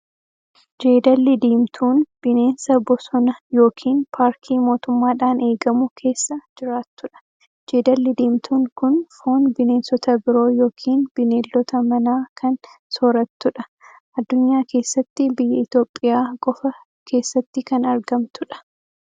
Jeedalli diimtuun bineensa bosona yookiin paarkii mootumaadhaan eegamu keessa jiraattudha. Jeedalli diimtuun kun foon bineensota biroo yookiin bineeldota manaa kan soorattudha. Addunyaa keessatti biyya Itoophiyaa qofaa keessatti kan argamtu dha.